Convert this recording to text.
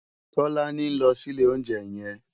Tolani n lò si ilé óunjè yèn